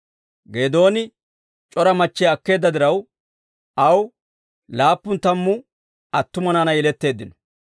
Geedooni c'ora machchiyaa akkeedda diraw, aw laappun tammu attuma naanay yeletteeddino.